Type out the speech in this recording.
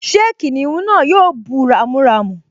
Ṣé kìnìún náà yóò bú ramúramù?